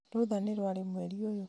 rũũtha nĩ rĩ mwerĩ-inĩ uyu